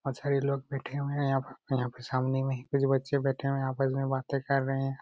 अकछा ये लोग बैठे हुए है सामने मे ही कुछ बच्छे बैठे हुए है यहा पर बाते कर रहे है। बाते कर रहे है।